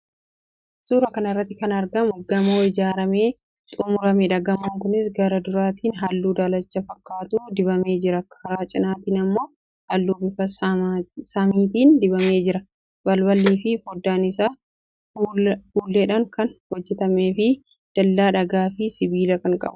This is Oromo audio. Suuraa kana irratti kan argamu gamoo ijaaramee xumurameedha. Gamoon kunis karaa duraatiin halluu daalacha fakkaatu dibamee jira. Karaa cinaatiin immoo halluu bifa samiitiin dibamee jira. Balbalaafi fooddaan isaa fuulleedhaan kan hojjetameefi dallaa dhagaafi sibiilaa kan qabuudha.